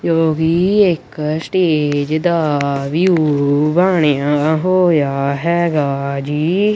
ਜੋ ਵੀ ਇੱਕ ਸਟੇਜ ਦਾ ਵਿਊ ਬਣਿਆ ਹੋਇਆ ਹੈਗਾ ਜੀ।